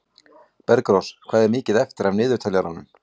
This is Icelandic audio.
Bergrós, hvað er mikið eftir af niðurteljaranum?